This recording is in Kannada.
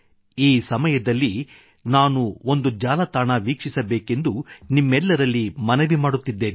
ಈ ಸಮಯದಲ್ಲಿ ನಾನು ಒಂದು ಜಾಲತಾಣ ವೀಕ್ಷಿಸಬೇಕೆಂದು ನಿಮ್ಮಲ್ಲರಲ್ಲಿ ಮನವಿ ಮಾಡುತ್ತಿದ್ದೇನೆ ekbharat